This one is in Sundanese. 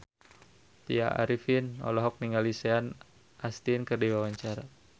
Tya Arifin olohok ningali Sean Astin keur diwawancara